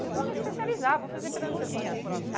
Falei, vou me especializar, vou fazer pedagogia.